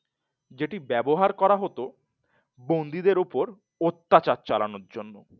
যেটি ব্যবহার করা হত বন্ধুদের ওপর অত্যাচার চালানোর জন্য